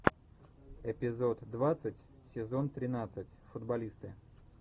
эпизод двадцать сезон тринадцать футболисты